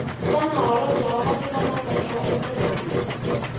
shana hholobwe wamatiko mambe iwaikonomi